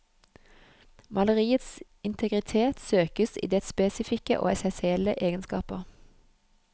Maleriets integritet søkes i dets spesifikke og essensielle egenskaper.